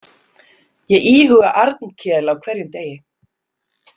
Ég íhuga Arnkel á hverjum degi.